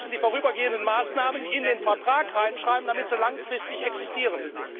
Aber wir müssen die vorübergehenden Maßnahmen in den Vertrag hineinschreiben, damit sie langfristig existieren.